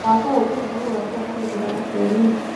mwaka ũkĩte nĩ gũgakorwo na gĩthurano bũrũri-inĩ